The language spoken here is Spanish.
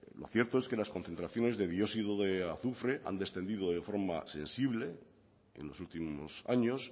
lo cierto es que las concentraciones de dióxido de azufre han descendido de forma sensible en los últimos años